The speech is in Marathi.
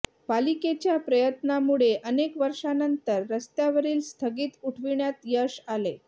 पालिकेच्या प्रयत्नांमुळे अनेक वर्षांनंतर रस्त्यावरील स्थगिती उठविण्यात यश आले